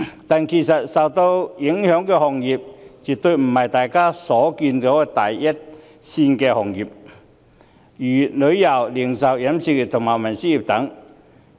但是，受影響的行業，絕對不只是大家所見的第一線行業，如旅遊、零售、飲食和運輸業等。